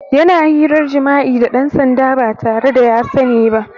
Yana hirar jima'i da ɗan sanda ba tare da ya sani ba.